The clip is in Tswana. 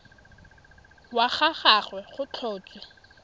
wa ga gagwe go tlhotswe